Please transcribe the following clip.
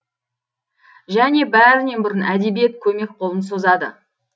және бәрінен бұрын әдебиет көмек қолын созады